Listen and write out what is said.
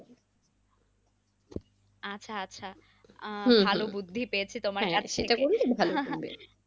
আচ্ছা আচ্ছা আহ